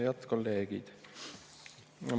Head kolleegid!